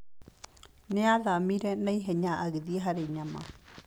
Nĩ aathamire na ihenya agĩthiĩ harĩ nyama.